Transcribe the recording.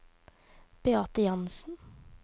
Beate Jansen